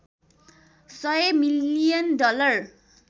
१०० million dollar